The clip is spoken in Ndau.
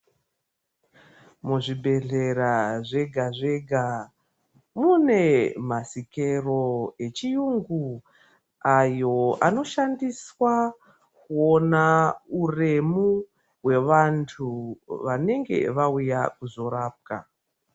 Muzvibhedhlera zvega zvega mune masikero echiyungu ayo anoshandiswa kuona uremu hwevanthu vanenge vauya kuzorapwa.